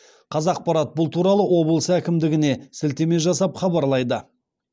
қазақпарат бұл туралы облыс әкімдігіне сілтеме жасап хабарлайды